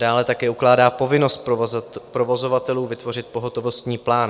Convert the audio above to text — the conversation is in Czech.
Dále také ukládá povinnost provozovatelů vytvořit pohotovostní plán.